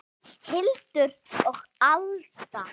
Hildur og Alda.